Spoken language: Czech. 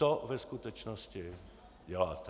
To ve skutečnosti děláte.